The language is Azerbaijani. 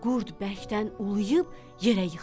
Qurd bərkdən ulayıb yerə yıxıldı.